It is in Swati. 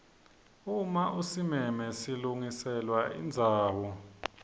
uma usimeme silungiselwa indzawo